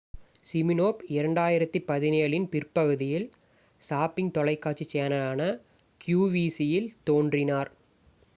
Smirnoff 2017 இன் பிற்பகுதியில் shopping தொலைக்காட்சி சேனலான qvc இல் தோன்றினார்